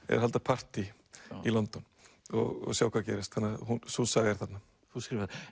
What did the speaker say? er að halda partý í London og sjá hvað gerist þannig að sú saga er þarna